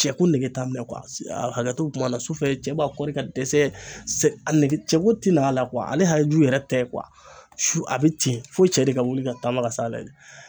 Cɛ ko nege t'a minɛ kuwa hakɛ to be kuma na sufɛ cɛ b'a kɔri ka dɛsɛ sɛge cɛ ko ti n'a la kuwa ale haju yɛrɛ tɛ kuwa su a be ten fo cɛ de ka wuli ka taama ka s'a la de